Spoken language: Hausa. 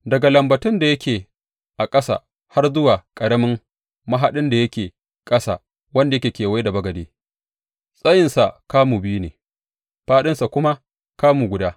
Daga lambatun da yake a ƙasa har zuwa ƙaramin mahaɗin da yake ƙasa wanda ya kewaye bagade, tsayinsa kamu biyu ne, fāɗinsa kuma kamu guda.